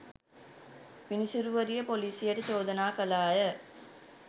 විනිසුරුවරිය පොලිසියට චෝදනා කළාය